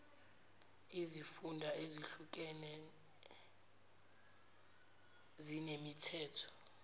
izifunda ezehlukeni zinemithetho